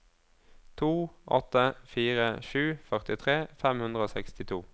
to åtte fire sju førtitre fem hundre og sekstito